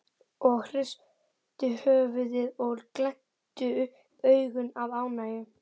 og hristu höfuðið og glenntu upp augun af ánægju.